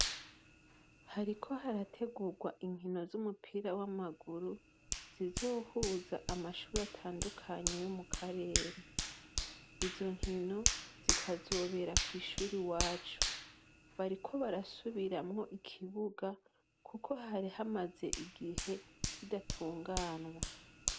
Hariko harategurwa inkino z' umupira w' amaguru, zizohuza amashure atandukanye yo mu karere. Izo nkino, zikazobera kw' ishuri iwacu. Bariko barasubiramwo ikibuga, kuko hari hamaze igihe kidatunganwa.